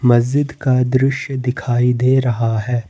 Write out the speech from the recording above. मस्जिद का दृश्य दिखाई दे रहा है।